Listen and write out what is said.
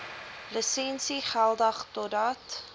lisensie geldig totdat